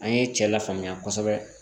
An ye cɛ lafaamuya kosɛbɛ